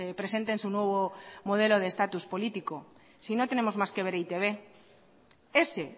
presenten su nuevo modelo de estatus político si no tenemos más que ver e i te be ese